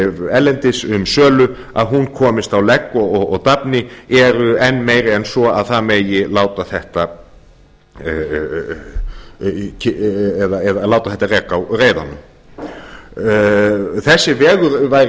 erlendis um sölu að hún komist á legg og dafni eru enn meiri en svo að það megi láta þetta reka á reiðanum þessi vegur væri